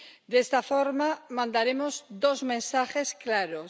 De esta forma, mandaremos dos mensajes claros.